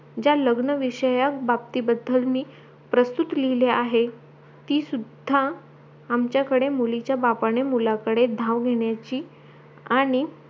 ज्या लग्न विषयकबाबती बद्दल मी प्रस्तुत लिहली आहे ती सुद्धा आमच्याकडे मुलीच्या बापणे मुलाकडे धाव घेण्याची आणि